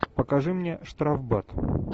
покажи мне штрафбат